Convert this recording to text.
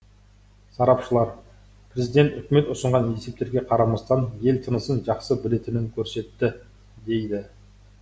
сарапшылар президент үкімет ұсынған есептерге қарамастан ел тынысын жақсы білетінін көрсетті дейді